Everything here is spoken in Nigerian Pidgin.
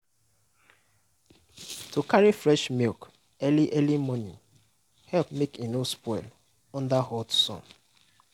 to carry fresh milk early early morning help make e no spoil under hot sun.